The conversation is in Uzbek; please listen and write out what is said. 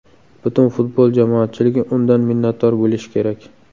Butun futbol jamoatchiligi undan minnatdor bo‘lishi kerak.